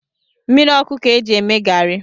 Mmiri ọkụ ka-eji eme garị